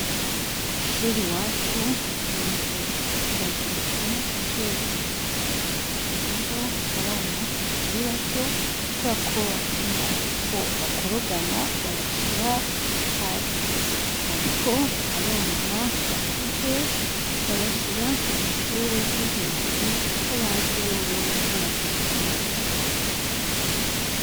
Ko'ishuri wacu inzu irageretse encuru zibiri rero abana bakiri bato ko urakobatinya ko bakorogana babashira hasi, ariko abana bakuze babashira mu mashure yo hejuru, kuko bazi boboko batagikobagana.